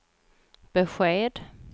besked